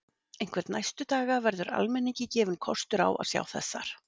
Einhvern næstu daga verður almenningi gefinn kostur á að sjá þessar